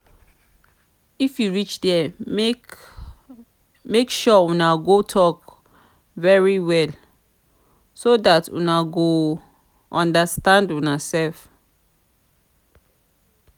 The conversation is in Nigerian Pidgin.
if you reach there make make sure una go talk very well so dat una go understand una self